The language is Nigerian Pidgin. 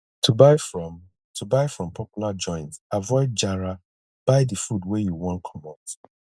to buy from to buy from popular joint avoid jara buy di food wey you want commot